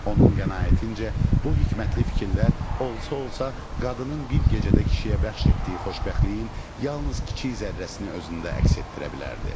Onun qənaətincə, bu hikmətli fikirlər olsa-olsa qadının bir gecədə kişiyə bəxş etdiyi xoşbəxtliyin yalnız kiçik zərrəsini özündə əks etdirə bilərdi.